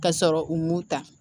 Ka sɔrɔ u m'o ta